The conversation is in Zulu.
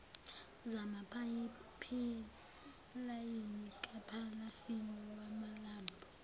zamapayipilayini kaphalafini wamalambu